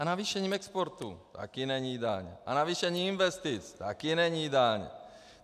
A navýšením exportu - také není daň, a navýšením investic - také není daň.